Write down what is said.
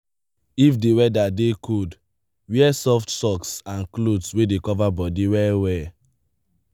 if di weather dey cold wear soft socks and cloth wey dey cover bodi well well